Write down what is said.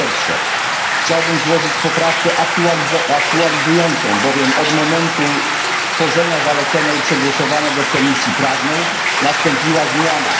Po pierwsze, chciałbym złożyć poprawkę aktualizującą, bowiem od momentu stworzenia zalecenia i przegłosowania go w Komisji Prawnej nastąpiła zmiana.